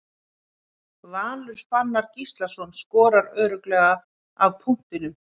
Valur Fannar Gíslason skorar örugglega af punktinum.